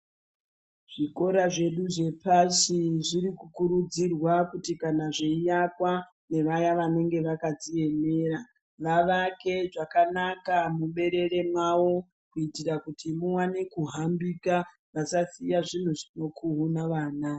Zvikora zvedu zvepashi zviri kukurudzirwa kuti kana zveiakwa nevaya vanenge vakadziemera, vavake zvakanaka muberere mwavo kuitira kuti muwane kuhambika. Vasasiya zvinhu zvinokuhuna vana.